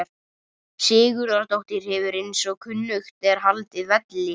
Sigurðardóttir hefur eins og kunnugt er haldið velli.